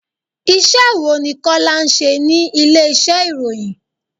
Iṣẹ́ wo ni Kọ́lá ń ṣe ní ilé ìṣe ìròyìn?